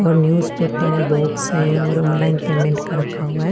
वो नेवसपपेर है बॉक्स है और ऑनलाइन पेमेंट का रखा हुआ है।